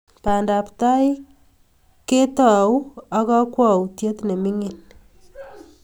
pandaptai ko tou ak kakwoutiet ne mining